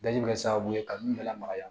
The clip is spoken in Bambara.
Daji bɛ kɛ sababu ye ka nun bɛɛ lamaga